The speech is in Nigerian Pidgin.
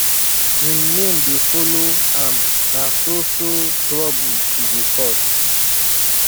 im name dey follow am na so so trouble she dey cause